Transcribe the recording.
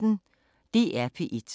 DR P1